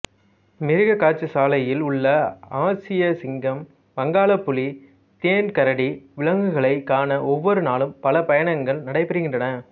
மிருகக்காட்சிசாலையில் உள்ள ஆசியச் சிங்கம் வங்காள புலி தேன் கரடி விலங்குகளைக் காண ஒவ்வொரு நாளும் பல பயணங்கள் நடைபெறுகின்றன